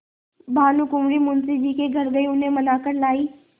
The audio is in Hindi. भानुकुँवरि मुंशी जी के घर गयी उन्हें मना कर लायीं